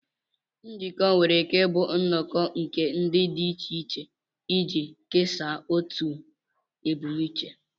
Njikọ nwere ike ịbụ nnọkọ nke ndị dị iche iche iji kesaa otu ebumnuche